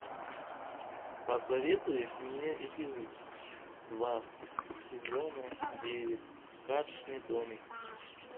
посоветуй мне эпизод два сезона девять карточный домик